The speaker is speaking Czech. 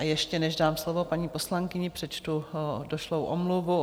A ještě než dám slovo paní poslankyni, přečtu došlou omluvu.